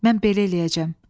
Mən belə eləyəcəm.